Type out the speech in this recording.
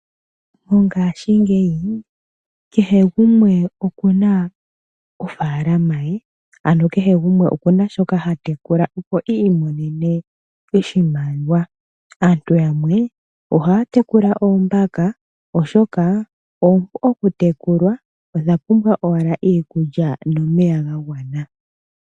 Mongaashingeyi kehe gumwe oku na ofaalama ye, ano kehe gumwe oku na shoka ha tekula, opo i imonene oshimaliwa. Aantu yamwe ohaya tekula oombaka, oshoka oompu okutekulwa. Odha pumbwa owala iikulya nomeya ga gwana.